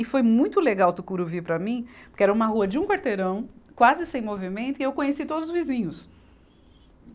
E foi muito legal Tucuruvi para mim, porque era uma rua de um quarteirão, quase sem movimento, e eu conheci todos os vizinhos.